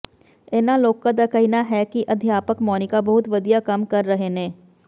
ਇਨ੍ਹਾਂ ਲੋਕਾਂ ਦਾ ਕਹਿਣਾ ਹੈ ਕਿ ਅਧਿਆਪਕ ਮੋਨਿਕਾ ਬਹੁਤ ਵਧੀਆ ਕੰਮ ਕਰ ਰਹੇ ਨੇ